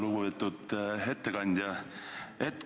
Lugupeetud ettekandja!